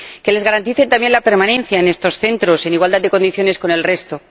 que les garanticen la permanencia en estos centros en igualdad de condiciones con el resto